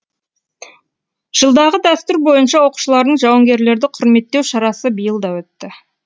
жылдағы дәстүр бойынша оқушылардың жауынгерлерді құрметтеу шарасы биыл да өтті